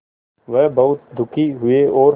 वह बहुत दुखी हुए और